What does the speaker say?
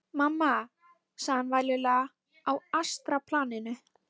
Mamma, sagði hann vælulegur á astralplaninu.